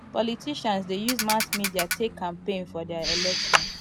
politicians de use mass media take campaign for their election